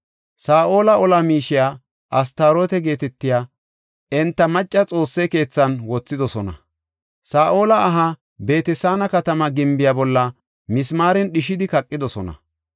Saa7ola ola miishiya Astaroote geetetiya enta macca xoosse keethan wothidosona. Saa7ola aha Beet-Saana katama gimbiya bolla mismaaren dhishidi kaqidosona.